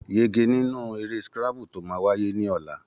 Yege nínú eré scrabble tó máa wáyé ní ọ̀la.